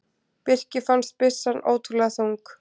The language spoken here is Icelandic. Birki fannst byssan ótrúlega þung.